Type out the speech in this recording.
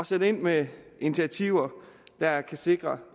sætte ind med initiativer der kan sikre